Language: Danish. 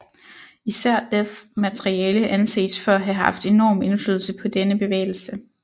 Især Deaths materiale anses for at have haft enorm indflydelse på denne bevægelse